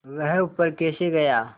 वह ऊपर कैसे गया